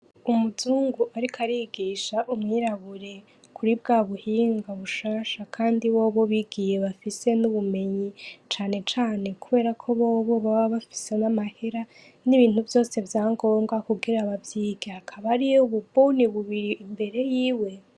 umuzungu ariko arigisha umwirabure kuri bwabuhinga bushasha Kandi bobo bigiye bafise n'ubumenyi cane cane kuberako bobo baba bafisemwo amahera nibintu vyose vyangombwa kugira bavyige, hakaba hariyo ububone bubiri imbere yiwe.